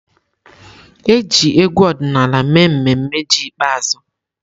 E ji egwu ọdịnala mee mmemme ji ikpeazụ.